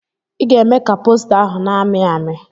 I ga-eme ka posta ahụ na-amị amị!